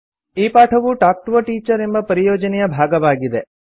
ಈ ಪಾಠವು talk to a teacher ಎಂಬ ಪರಿಯೋಜನೆಯ ಭಾಗವಾಗಿದೆ